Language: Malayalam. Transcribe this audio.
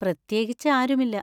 പ്രത്യേകിച്ച് ആരുമില്ല.